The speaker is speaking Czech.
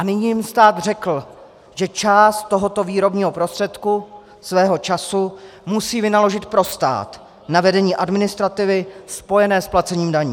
A nyní jim stát řekl, že část tohoto výrobního prostředku, svého času, musí vynaložit pro stát na vedení administrativy spojené s placením daní.